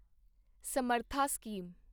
ਸਮਰਥਾ ਸਕੀਮ